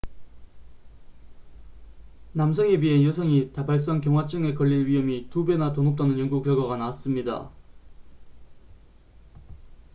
남성에 비해 여성이 다발성 경화증에 걸릴 위험이 2배나 더 높다는 연구 결과가 나왔습니다